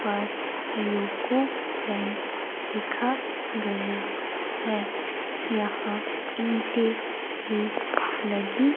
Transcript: पर UCO bank लिखा गया है यहां ईंटे भी लगी--